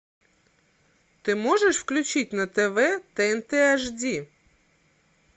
ты можешь включить на тв тнт аш ди